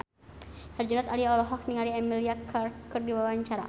Herjunot Ali olohok ningali Emilia Clarke keur diwawancara